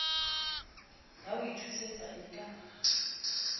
ya ho ithuisa e ka